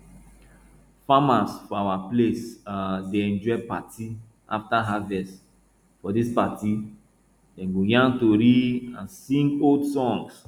farmers for our place um dey enjoy party after harvest for dis party dem go yarn tori and and sing old songs